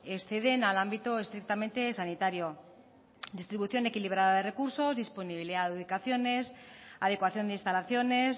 exceden al ámbito estrictamente sanitario distribución equilibrada de recursos disponibilidad de ubicaciones adecuación de instalaciones